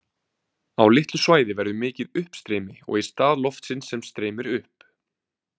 Á litlu svæði verður mikið uppstreymi og í stað loftsins sem streymir upp.